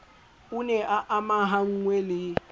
o ne a amahanngwe le